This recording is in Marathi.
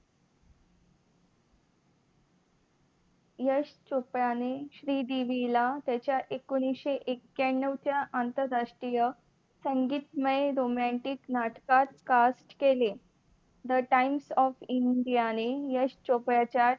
यश चोपडाने श्रीदेवीला त्याच्या एकोनीशे एक्क्यानंव च्या आंतरराष्ट्रीय संगीतमय romantic नाटकात काच केले the Times of India Yash चोपडाच्या